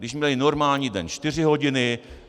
Když měli normální den, čtyři hodiny.